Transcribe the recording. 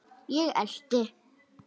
Ég elti.